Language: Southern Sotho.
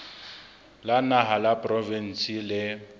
la naha la diporofensi le